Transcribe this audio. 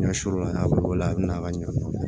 Ɲɛsɔrɔla n'a b'o la a bɛna a ka ɲɛ